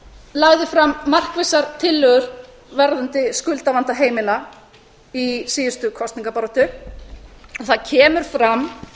lagði fram markvissar tillögur varðandi skuldavanda heimila í síðustu kosningabaráttu og það kemur fram